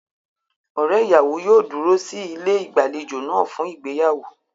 Ọ̀rẹ́ ìyàwó yóò dúró sí ilé ìgbàlejò náà fún ìgbéyàwó.